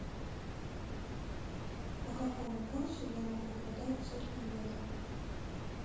по какому курсу я могу продать сотню евро